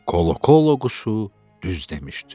Kolo-Kolo quşu düz demişdi.